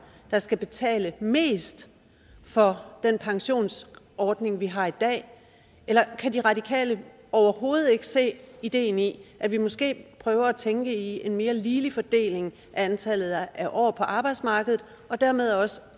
der skal betale mest for den pensionsordning vi har i dag eller kan de radikale overhovedet ikke se ideen i at vi måske prøver at tænke i en mere ligelig fordeling af antallet af år på arbejdsmarkedet og dermed også